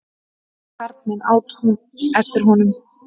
Karlmenn! át hún eftir honum.